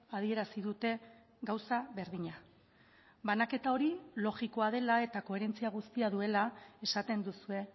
adierazi dute gauza berdina banaketa hori logikoa dela eta koherentzia guztia duela esaten duzue